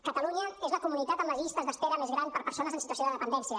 catalunya és la comunitat amb les llistes d’espera més grans per a persones en situació de dependència